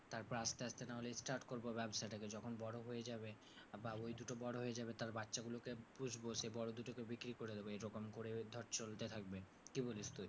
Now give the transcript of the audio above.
তারপর আসতে আসতে নাহলে start করবো ব্যবসাটাকে। যখন বড়ো হয়ে যাবে আবার ঐ দুটো বড়ো হয়ে যাবে তার বাচ্চাগুলোকে পুষবো, সেই বড়ো দুটোকে বিক্রি করে দেবো, এরকম করে ধর চলতে থাকবে। কি বলিস তুই?